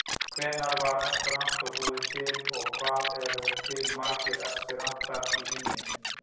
Hvenær var esperantó búið til og hvað eru til margir esperantistar í heiminum?